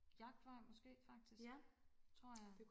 jagtvej måske faktisk tror jeg